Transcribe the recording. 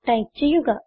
type ചെയ്യുക